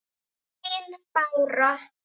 Þín Bára.